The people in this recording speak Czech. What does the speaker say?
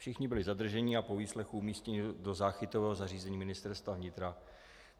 Všichni byli zadrženi a po výslechu umístěni do záchytového zařízení Ministerstva vnitra.